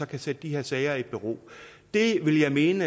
kan sætte de her sager i bero det vil jeg mene